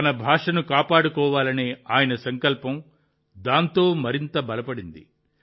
తన భాషను కాపాడుకోవాలనే ఆయన సంకల్పం దాంతో మరింత బలపడింది